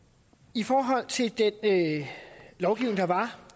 i forhold til den lovgivning der var